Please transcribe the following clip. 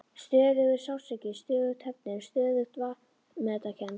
Stöðugur sársauki, stöðug höfnun, stöðug vanmetakennd.